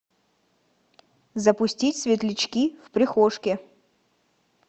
запустить светлячки в прихожке